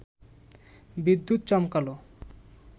বিদ্যুৎ চমকাল